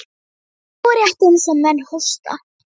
Nú, rétt eins og menn hósta.